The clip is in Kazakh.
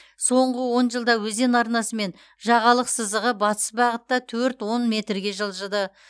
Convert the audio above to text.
соңғы он жылда өзен арнасы мен жағалық сызығы батыс бағытта төрт он метрге жылжыды